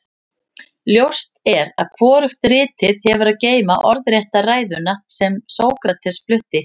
ljóst er að hvorugt ritið hefur að geyma orðrétta ræðuna sem sókrates flutti